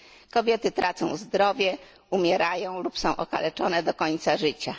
Kobiety tracą zdrowie, umierają bądź są okaleczone do końca życia.